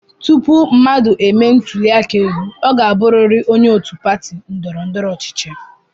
Tupu mmadụ e mee ntụli aka elu, ọ ga-abụrịrị onye òtù pati ndọrọ ndọrọ ọchịchị.